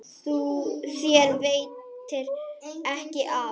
Þér veitir ekki af.